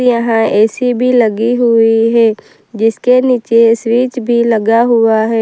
यह ए_सी भीं लगी हुई हैं जिसके नीचे ये स्विच भीं लगा हुआ हैं।